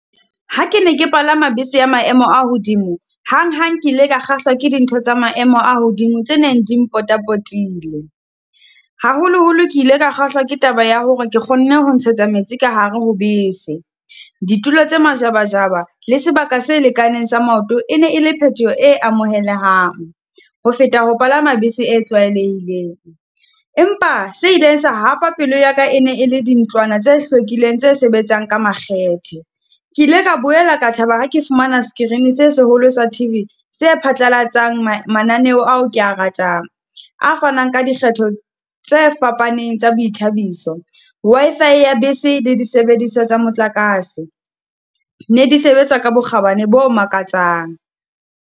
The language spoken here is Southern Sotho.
Ha ke ne ke palama bese ya maemo a hodimo, hanghang ke ile ka kgahlwa ke dintho tsa maemo a hodimo tse neng di mpotapotileng. Haholoholo ke ile ka kgahlwa ke taba ya hore ke kgonne ho ntshetsa metsi ka hare ho bese. Ditulo tse majabajaba le sebaka se lekaneng sa maoto, e ne e le phetoho e amohelehang, ho feta ho palama bese e tlwaelehileng. Empa se ileng sa hapa pelo ya ka e ne e le dintlwana tse hlwekileng tse sebetsang ka makgethe. Ke ile ka boela ka thaba ha ke fumana screen-e se seholo sa T_V se phatlalatsang mananeo ao ke a ratang, a fanang ka dikgetho tse fapaneng tsa boithabiso. Wi-Fi ya bese le disebediswa tsa motlakase, ne di sebetsa ka bokgabane bo makatsang.